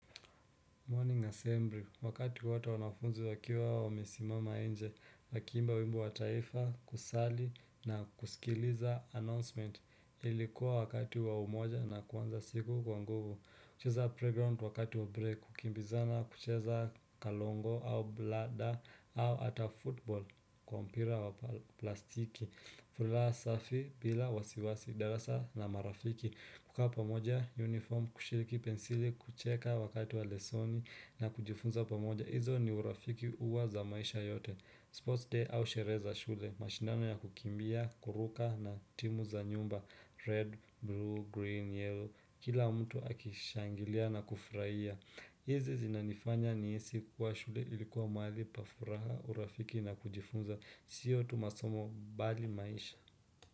Morning assembly wakati watu wanafunzi wakiwa wamesimama nje wakiimba wimbo wa taifa, kusali na kusikiliza announcement. Ilikuwa wakati wa umoja na kuanza siku kwa nguvu. Kucheza playground wakati wa break, kukimbizana kucheza kalongo au blada au ata football kwa mpira wa plastiki. Furaha safi bila wasiwasi, darasa na marafiki. Kukaa pamoja uniform, kushiriki pensili, kucheka wakati wa lessoni na kujifunza pamoja. Izo ni urafiki huwa za maisha yote. Sports day au sherehe za shule, mashindano ya kukimbia, kuruka na timu za nyumba Red, blue, green, yellow, kila mtu akishangilia na kufurahia. Hizi zinanifanya nihisi kuwa shule ilikuwa mahali pa furaha, urafiki na kujifunza sio tu masomo bali maisha.